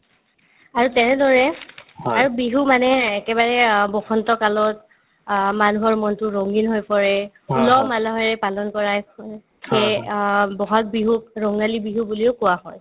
আৰু তেনেদৰে আৰু বিহু মানে একেবাৰে অ বসন্ত কালত অ মানুহৰ মনতো ৰঙীন হৈ পৰে উলহ-মালহেৰে পালন কৰাই ফুৰে সেয়ে অ ব'হাগ বিহুক ৰঙালী বিহু বুলিও কোৱা হয়